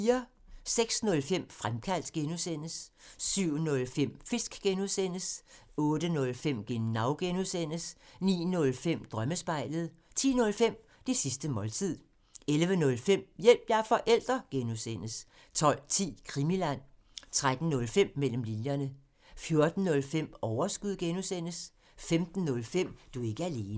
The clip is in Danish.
06:05: Fremkaldt (G) 07:05: Fisk (G) 08:05: Genau (G) 09:05: Drømmespejlet 10:05: Det sidste måltid 11:05: Hjælp – jeg er forælder! (G) 12:10: Krimiland 13:05: Mellem linjerne 14:05: Overskud (G) 15:05: Du er ikke alene